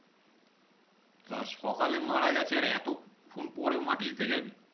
তা সকালে মারা গেছে আর এতক্ষন পরে মাটি দিতে জাবি?